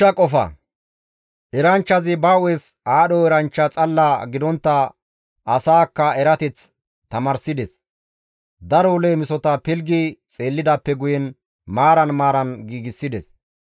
Eranchchazi ba hu7es aadho eranchcha xalla gidontta asaakka erateth tamaarsides. Daro leemisota pilggi xeellidaappe guyen maaran maaran giigsides.